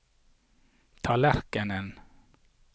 tallerkenen